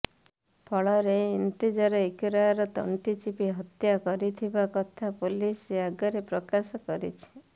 ଫଳରେ ଇନ୍ତଜାର ଇକରାର ତଣ୍ଟି ଚିପି ହତ୍ୟା କରିଥିବା କଥା ପୋଲିସ ଆଗରେ ପ୍ରକାଶ କରିଛି